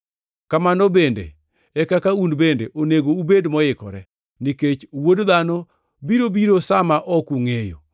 Kamano bende e kaka un bende onego ubed moikore, nikech Wuod Dhano biro biro sa ma ok ungʼeyo.